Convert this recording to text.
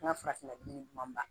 N ka farafinna dun